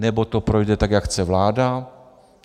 Nebo to projde, tak jak chce vláda.